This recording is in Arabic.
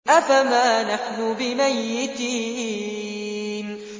أَفَمَا نَحْنُ بِمَيِّتِينَ